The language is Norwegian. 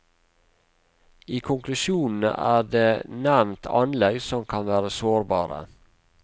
I konklusjonene er det nevnt anlegg som kan være sårbare.